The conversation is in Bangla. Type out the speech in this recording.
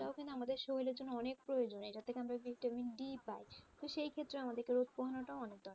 কিনা আমাদের শরীরের জন্য অনেক প্রয়োজন এটা থেকে আমরা vitamin D পাই তো সেইক্ষেত্রে আমাদেরকে রোদ পোহানোটা অনেক দরকার.